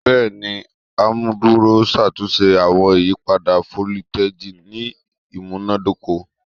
Bẹẹni, amuduro n ṣatunṣe awọn iyipada foliteji ni imunadoko